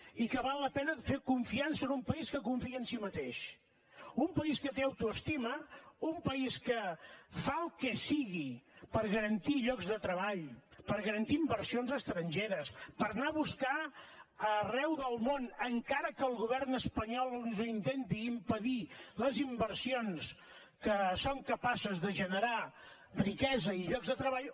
i que val la pena fer confiança a un país que confia en sí mateix a un país que té autoestima a un país que fa el que sigui per garantir llocs de treball per garantir inversions estrangeres per anar a buscar arreu del món encara que el govern espanyol ens ho intenti impedir les inversions que són capaces de generar riquesa i llocs de treball